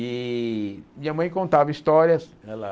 E minha mãe contava histórias. Ela